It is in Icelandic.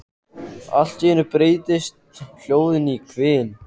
Allt í einu breytist hljóðið í hvin.